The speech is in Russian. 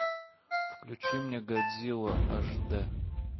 включи мне годзилла аш дэ